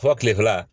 Fɔ kile fila